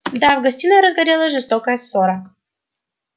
да в гостиной разгорелась жестокая ссора